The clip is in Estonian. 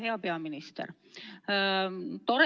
Hea peaminister!